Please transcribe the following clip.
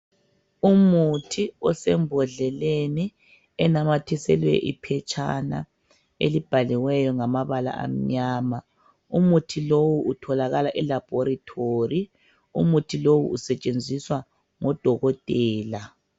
Umuthi osembodleleni onamathiselwe iphetshana elibhaliweyo ngamabala amnyama umuthi lo utholakala eLabolatory umuthi lo usetshenziswa ngodokotela